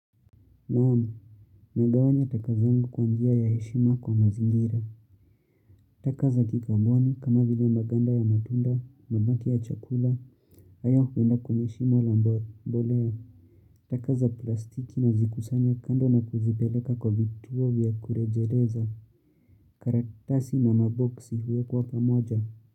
Naamu, nagawanya takazangu kwa njia ya heshima kwa mazingira. Taka za kikamboni kama vile maganda ya matunda, mabaki ya chakula, hayo huenda kwenye shimo la mbolea. Taka za plastiki na zikusanya kando na kuzipeleka kwa vituo vya kurejeleza. Karaktasi na maboksi huwekwa pamoja.